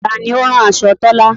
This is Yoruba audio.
Taani ó o rán aṣọ Tọ́là?